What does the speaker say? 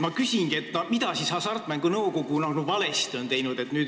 Ma küsingi, et mida siis Hasartmängumaksu Nõukogu valesti on teinud.